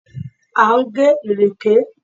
À ń gé ìrèké.